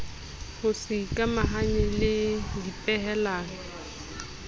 ho se ikamahanye le dipehelano